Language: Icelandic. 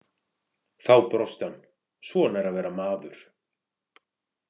Þá brosti hann: Svona er að vera maður.